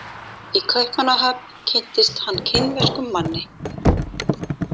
Í Kaupmannahöfn kynntist hann kínverskum manni.